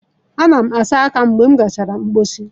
Ana m asa aka m mgbe m gachara mposi.